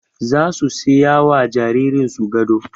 Zasu siyawa jaririn su gado